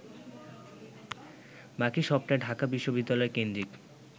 বাকি সবটাই ঢাকা বিশ্ববিদ্যালয়কেন্দ্রিক